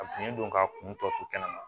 A kun don ka kun tɔ to kɛnɛma